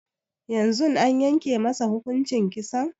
Yanzun an yanke masa kuhuncin Kisan?